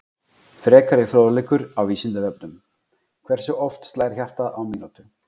Frekari fróðleikur á Vísindavefnum: Hversu oft slær hjartað á mínútu?